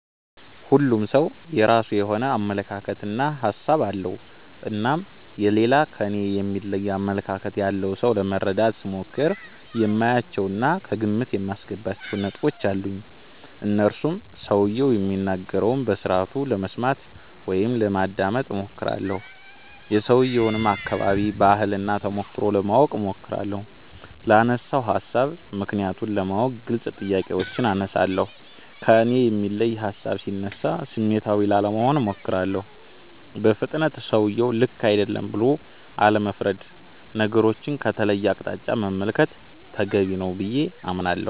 ሁሉም ሠው የራሱ የሆነ አመለካከት እና ሀሣብ አለው። እናም የሌላ ከኔ የሚለይ አመለካከት ያለውን ሠው ለመረዳት ስሞክር የማያቸው እና ከግምት የማስገባቸው ነጥቦች አሉኝ። እነርሱም ሠውየው የሚናገረውን በስርአቱ ለመስማት (ማዳመጥ ) እሞክራለሁ። የሠውየውን አከባቢ፣ ባህል እና ተሞክሮ ለማወቅ እሞክራለሁ። ላነሣው ሀሣብ ምክንያቱን ለማወቅ ግልጽ ጥያቄዎችን አነሣለሁ። ከእኔ የሚለይ ሀሣብ ሢነሣ ስሜታዊ ላለመሆን እሞክራለሁ። በፍጥነት ሠውየው ልክ አይደለም ብሎ አለመፍረድ። ነገሮቹን ከተለየ አቅጣጫ መመልከት ተገቢ ነው ብዬ አምናለሁ።